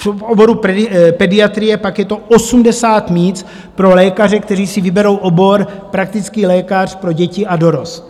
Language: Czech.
V oboru pediatrie pak je to 80 míst pro lékaře, kteří si vyberou obor praktický lékař pro děti a dorost.